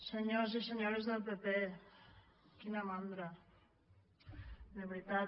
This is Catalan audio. senyors i senyores del pp quina mandra de veritat